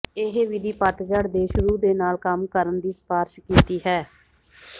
ਇਹ ਵਿਧੀ ਪਤਝੜ ਦੇ ਸ਼ੁਰੂ ਦੇ ਨਾਲ ਕੰਮ ਕਰਨ ਦੀ ਸਿਫਾਰਸ਼ ਕੀਤੀ ਹੈ